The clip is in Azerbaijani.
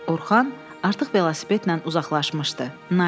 Orxan artıq velosipedlə uzaqlaşmışdı, Nailə də.